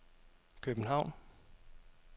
København